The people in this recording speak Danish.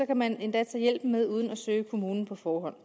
kan man endda tage hjælpen med uden at søge kommunen på forhånd